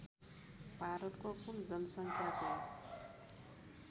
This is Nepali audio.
भारतको कुल जनसङ्ख्याको